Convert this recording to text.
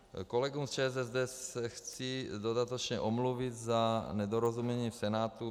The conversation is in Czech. Kolegům z ČSSD se chci dodatečně omluvit za nedorozumění v Senátu.